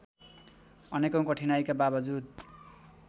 अनेकौं कठिनाइका बावजुद